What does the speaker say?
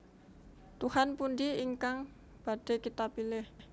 Tuhan pundi ingkang badhé kita pilih